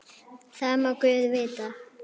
Það má guð vita.